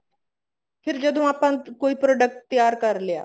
ਫ਼ੇਰ ਜਦੋਂ ਆਪਾਂ ਕੋਈ product ਤਿਆਰ ਕਰ ਲਿਆ